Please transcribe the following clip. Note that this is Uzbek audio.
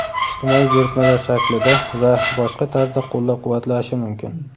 ijtimoiy buyurtmalar shaklida va boshqa tarzda qo‘llab-quvvatlashi mumkin.